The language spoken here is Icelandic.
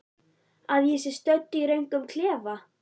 Að ég sé stödd í röngum klefa?